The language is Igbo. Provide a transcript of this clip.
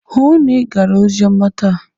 Hụụ na Ị gara oziọma taa!